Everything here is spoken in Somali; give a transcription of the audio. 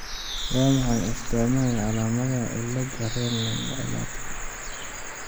Waa maxay astaamaha iyo calaamadaha cillada Raine ciladaka?